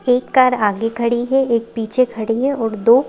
एक कार आगे खड़ी है एक पीछे खड़ी है और दो--